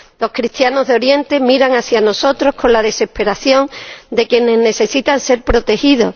Los cristianos de Oriente miran hacia nosotros con la desesperación de quienes necesitan ser protegidos.